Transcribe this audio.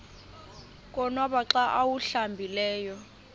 konwaba xa awuhlambileyo